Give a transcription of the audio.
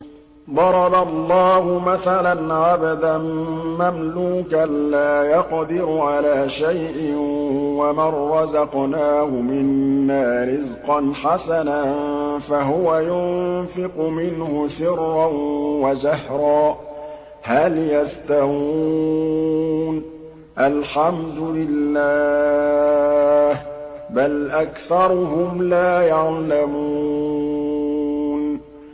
۞ ضَرَبَ اللَّهُ مَثَلًا عَبْدًا مَّمْلُوكًا لَّا يَقْدِرُ عَلَىٰ شَيْءٍ وَمَن رَّزَقْنَاهُ مِنَّا رِزْقًا حَسَنًا فَهُوَ يُنفِقُ مِنْهُ سِرًّا وَجَهْرًا ۖ هَلْ يَسْتَوُونَ ۚ الْحَمْدُ لِلَّهِ ۚ بَلْ أَكْثَرُهُمْ لَا يَعْلَمُونَ